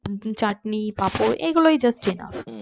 চাটনি পাঁপড় এগুলোই just enough